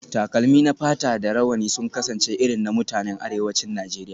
Takalmi na fata da rawani sun kasance irin na mutanen arewacin Najeriya